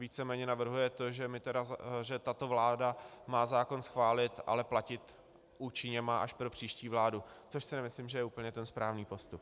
Víceméně navrhuje to, že tato vláda má zákon schválit, ale platit účinně má až pro příští vládu, což si nemyslím, že je úplně ten správný postup.